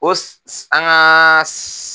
O an ka